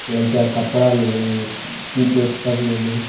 लइका के कपड़ा मिली किट ओट सब मिली।